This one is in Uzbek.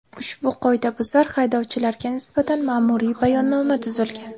Ushbu qoidabuzar haydovchilarga nisbatan ma’muriy bayonnoma tuzilgan.